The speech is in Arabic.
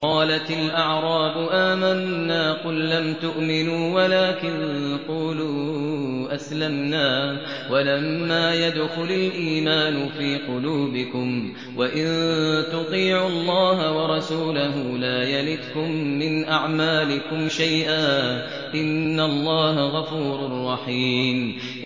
۞ قَالَتِ الْأَعْرَابُ آمَنَّا ۖ قُل لَّمْ تُؤْمِنُوا وَلَٰكِن قُولُوا أَسْلَمْنَا وَلَمَّا يَدْخُلِ الْإِيمَانُ فِي قُلُوبِكُمْ ۖ وَإِن تُطِيعُوا اللَّهَ وَرَسُولَهُ لَا يَلِتْكُم مِّنْ أَعْمَالِكُمْ شَيْئًا ۚ إِنَّ اللَّهَ غَفُورٌ رَّحِيمٌ